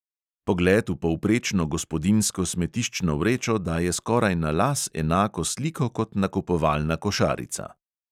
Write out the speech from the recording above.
Pogled v povprečno gospodinjsko smetiščno vrečo daje skoraj na las enako sliko kot nakupovalna košarica.